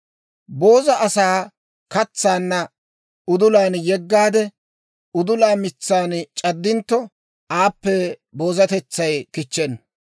Booza asaa katsanna udulan yeggaade, udula mitsan c'addintto, aappe boozatetsay kichchenna.